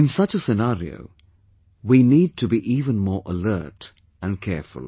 In such a scenario, we need to be even more alert and careful